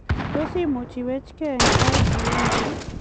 Tos imuch iweckei eng sait agenge